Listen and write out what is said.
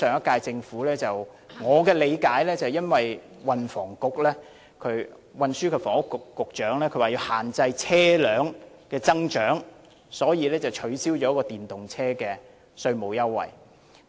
據我理解，因為運輸及房屋局局長說要限制車輛增長，所以取消了電動車的稅務優惠。